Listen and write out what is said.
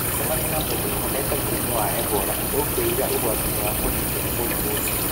Ũngĩcemania na mũndũ ũhonete mũrimũ wa Ebola, ũkũigaga ũgwati-inĩ wa kũnyitwo nĩ mũrimũ ũcio.